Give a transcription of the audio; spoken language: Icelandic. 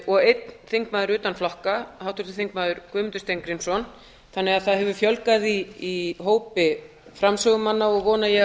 og einn þingmaður utan flokka háttvirtur þingmaður guðmundur steingrímsson þannig að það hefur fjölgað í hópi framsögumanna og vona ég að